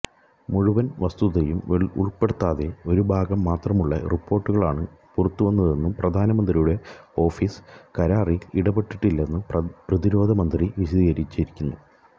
മുഴുവന് വസ്തുതയും ഉള്പ്പെടുത്താതെ ഒരുഭാഗം മാത്രമുള്ള റിപ്പോര്ട്ടുകളാണ് പുറത്തുവന്നതെന്നും പ്രധാനമന്ത്രിയുടെ ഓഫീസ് കരാറില് ഇടപെട്ടിട്ടില്ലെന്നും പ്രതിരോധമന്ത്രി വിശദീകരിച്ചിരുന്നു